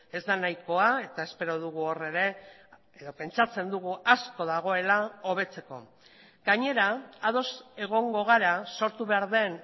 ez da nahikoa eta espero dugu hor ere edo pentsatzen dugu asko dagoela hobetzeko gainera ados egongo gara sortu behar den